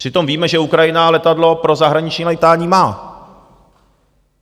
Přitom víme, že Ukrajina letadlo pro zahraniční létání má.